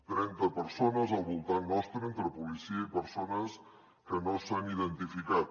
trenta persones al voltant nostre entre policia i persones que no s’han identificat